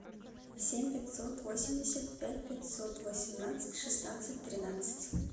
семь пятьсот восемьдесят пять пятьсот восемнадцать шестнадцать тринадцать